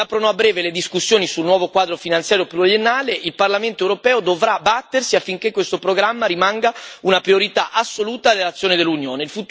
Si aprono a breve le discussioni sul nuovo quadro finanziario pluriennale il Parlamento europeo dovrà battersi affinché questo programma rimanga una priorità assoluta dell'azione dell'Unione.